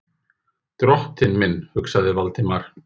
Drottinn minn, hugsaði Valdimar.